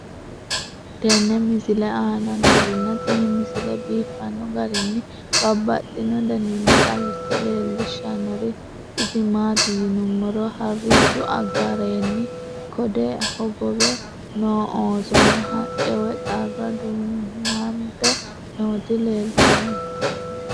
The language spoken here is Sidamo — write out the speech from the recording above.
tenne misile aana noorina tini misile biiffanno garinni babaxxinno daniinni xawisse leelishanori isi maati yinummoro harichchu gaarenni code hogobe noo oosonna, haqqe woy xarra duunante nootti leelittanno